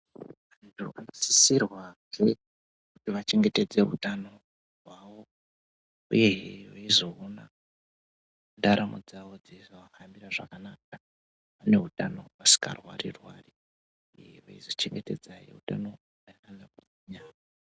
Vanhu vanosisirwahe kuti vachengetedze utano hwavo uyehe veizoona ndaramo dzawo dzeizoahambira zvakanaka vane utano vasingarwari rwari veizochengetedza he utano.